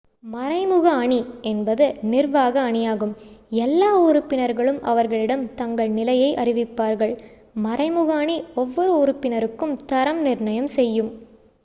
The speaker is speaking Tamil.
"""மறைமுக அணி" என்பது நிர்வாக அணியாகும் எல்லா உறுப்பினர்களும் அவர்களிடம் தங்கள் நிலையை அறிவிப்பார்கள். மறைமுக அணி ஒவ்வொரு உறுப்பினருக்கும் தரம் நிர்ணயம் செய்யும்.